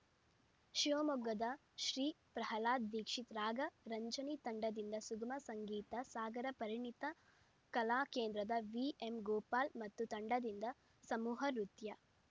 ಶಿವಮೊಗ್ಗದ ಶ್ರೀ ಪ್ರಹ್ಲಾದ್‌ ದೀಕ್ಷಿತ್‌ ರಾಗ ರಂಜನಿ ತಂಡದಿಂದ ಸುಗಮ ಸಂಗೀತ ಸಾಗರ ಪರಿಣಿತಿ ಕಲಾ ಕೇಂದ್ರದ ವಿಎಂ ಗೋಪಾಲ್‌ ಮತ್ತು ತಂಡದಿಂದ ಸಮೂಹ ನೃತ್ಯ